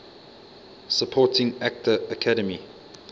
supporting actor academy